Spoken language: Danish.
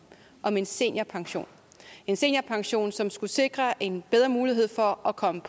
om en seniorpension en seniorpension som skulle sikre en bedre mulighed for at komme